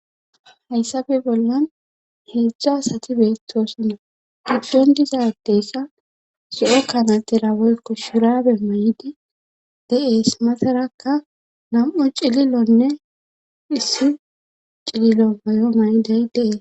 hayssafe bollan heedzdza sati beettoosinna iddon dizadessa si7o kanatera woykko surabe may7idi de7ees masarakka nam7u cililonne issi cililo mayo may7dey deees